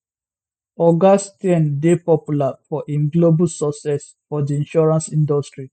oga steyn dey popular for im global success for di insurance industry